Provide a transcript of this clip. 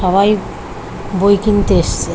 সবাই বই কিনতে এসছে।